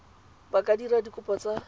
ba ka dira dikopo tsa